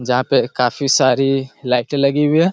जहां पे काफी सारी लाइटे लगी हुई हैं।